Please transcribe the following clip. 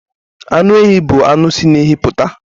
Anụ ehi bụ anụ si na ehi puta